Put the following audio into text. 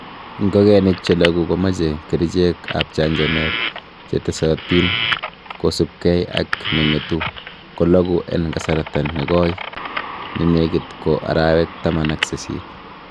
Ingogenik che loguu komoche kerichek ab chanchanet chetesotin, kosiibge ak ne ngetu ko loogu en kasarta nekoi nenekit bo arawek taman ak sisit.